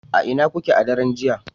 a ina kuke a daren jiya